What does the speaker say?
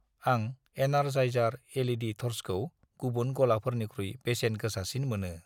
आं energizer LED थर्सखौ गुबुन गलाफोरनिख्रुइ बेसेन गोसासिन मोनो।